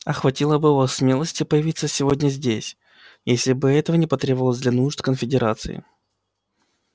а хватило бы у вас смелости появиться сегодня здесь если бы этого не потребовалось для нужд конфедерации